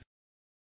ધન્યવાદ